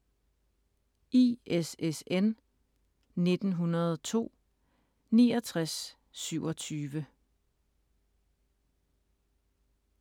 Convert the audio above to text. ISSN 1902-6927